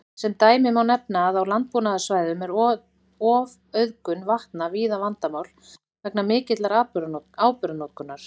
Sem dæmi má nefna að á landbúnaðarsvæðum er ofauðgun vatna víða vandamál vegna mikillar áburðarnotkunar.